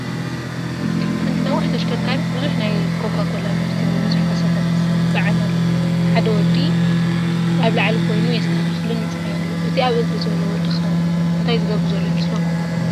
ሓንቲ ነዋሕ ተሽከርካሪት ብዙሕ ናይ ኮካ ኮላ ምህርቲ ብቡዙሕ ካሳታት ትፀዓን ኣላ፡፡ ሓደ ወዲ ኣብ ላዕሊ ኾይኑ የስተኻኽልን ይፅዕንን ኣሎ፡፡ እቲ ኣብ እግሪ ዘሎ ወዲ ኸ እንታይ ዝገብር ዘሎ ይመስለኩም?